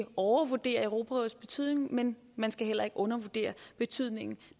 overvurdere europarådets betydning men man skal heller ikke undervurdere betydningen